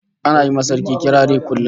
Ana yi ma Sarki kirari kullum